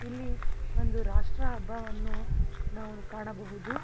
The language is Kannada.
ಇಲ್ಲಿ ಒಂದು ರಾಷ್ಟ್ರ ಹಬ್ಬವನ್ನು ನಾವು ಕಾಣಬಹುದು.